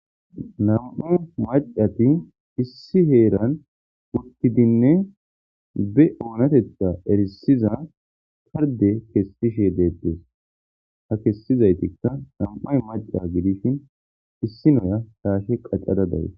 Nam'a macati issi heeran wuttidinne be oonatetta erisiza tarde kessishe deettes ha kessizaytikka nam'ay maca gidishin issi noya saashe qacada dawe.